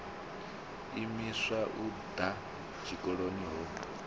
imiswa u ḓa tshikoloni ho